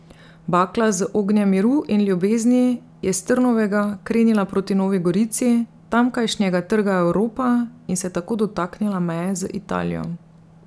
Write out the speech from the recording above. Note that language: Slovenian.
Bakla z ognjem miru in ljubezni je s Trnovega krenila proti Novi Gorici, tamkajšnjega Trga Evropa in se tako dotaknila meje z Italijo.